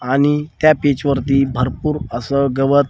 आणि त्या पिच वरती भरपूर असं गवत --